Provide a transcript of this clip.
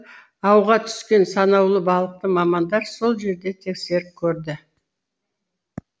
ауға түскен санаулы балықты мамандар сол жерде тексеріп көрді